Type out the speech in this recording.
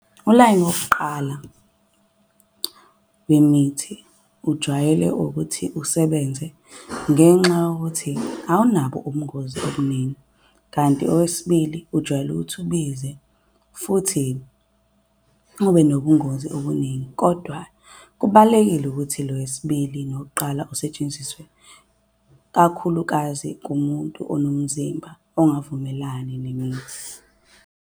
Ulayini wokuqala wemithi ujwayele ukuthi usebenze ngenxa yokuthi awunabo ubungozi obuningi. Kanti owesibili ujwayele ukuthi ubize futhi ube nobungozi obuningi. Kodwa kubalekile ukuthi lo wesibili nowokuqala usetshenziswe, kakhulukazi kumuntu onomzimba ongavumelani nemithi.